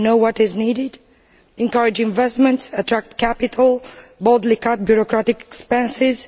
You know what is needed to encourage investment, attract capital and boldly cut bureaucratic expenses.